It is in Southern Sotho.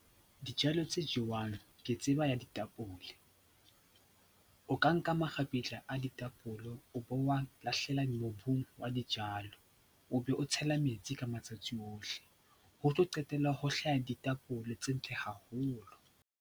Dijalo tse jewang ke tseba ya ditapole. O ka nka makgapetla a ditapole o bo a lahlela mobung wa dijalo, o be o tshela metsi ka matsatsi ohle. Ho tlo qetella ho hlaha ditapole tse ntle haholo.